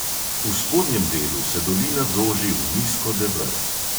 V spodnjem delu se dolina zoži v nizko deber.